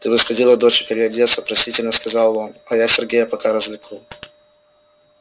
ты бы сходила доча переодеться просительно сказал он а я сергея пока развлеку